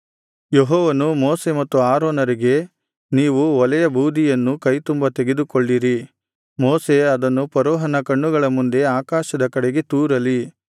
ಯೆಹೋವನು ಮೋಶೆ ಮತ್ತು ಆರೋನರಿಗೆ ನೀವು ಒಲೆಯ ಬೂದಿಯನ್ನು ಕೈತುಂಬಾ ತೆಗೆದುಕೊಳ್ಳಿರಿ ಮೋಶೆ ಅದನ್ನು ಫರೋಹನ ಕಣ್ಣುಗಳ ಮುಂದೆ ಆಕಾಶದ ಕಡೆಗೆ ತೂರಲಿ